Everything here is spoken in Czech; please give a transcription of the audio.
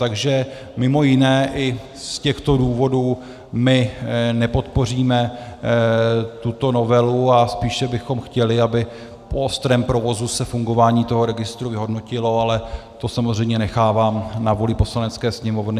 Takže mimo jiné i z těchto důvodů my nepodpoříme tuto novelu a spíše bychom chtěli, aby po ostrém provozu se fungování toho registru vyhodnotilo, ale to samozřejmě nechávám na vůli Poslanecké sněmovny.